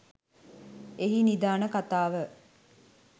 එහි නිධාන කතාව